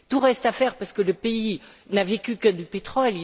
Tout reste à faire parce que le pays n'a vécu que de pétrole.